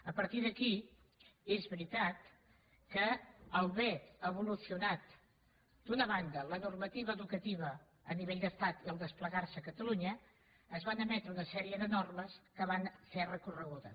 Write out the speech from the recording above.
a partir d’aquí és veritat que a l’haver evolucionat d’una banda la normativa educativa a nivell d’estat i al desplegar se a catalunya es van emetre una sèrie de normes que van ser recorregudes